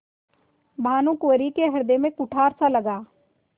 भानुकुँवरि के हृदय में कुठारसा लगा